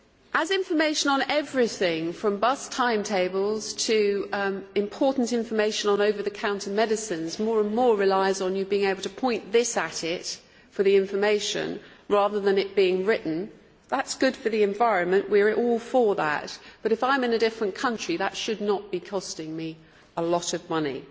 As information on everything from bus timetables to important information on over the counter medicines more and more relies on you being able to point a mobile at it for the information rather than it being written, that is good for the environment we are all for that but if I am in a different country that should not be costing me a lot of money.